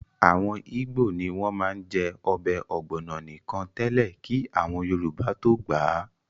Àwọn ìgbò ní wọ́n má ń jẹ́ ọbẹ̀ ọ̀gbọ̀nọ̀ nìkan tẹ́lẹ̀ kí àwọn Yorùbá tó gbà á